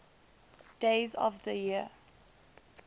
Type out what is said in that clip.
days of the year